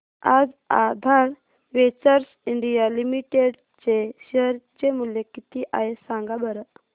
आज Aadhaar ventures India limited चे share चे मूल्य किती आहे सांगा बरं